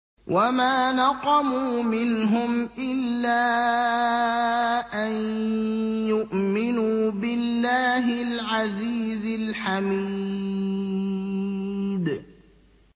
وَمَا نَقَمُوا مِنْهُمْ إِلَّا أَن يُؤْمِنُوا بِاللَّهِ الْعَزِيزِ الْحَمِيدِ